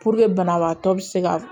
banabaatɔ bɛ se ka